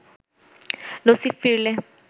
নসীব ফিরলে